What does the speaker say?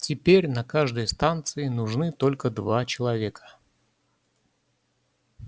теперь на каждой станции нужны только два человека